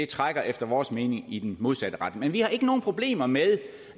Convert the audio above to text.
trækker efter vores mening i den modsatte retning men vi har ikke nogen problemer med